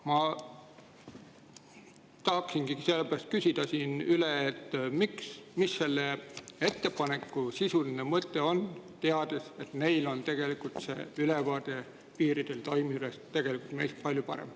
Ma tahaksingi sellepärast küsida siin üle, et mis selle ettepaneku sisuline mõte on, teades, et on tegelikult ülevaade piiridel toimuvast meist palju parem.